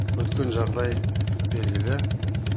өткен жағдай белгілі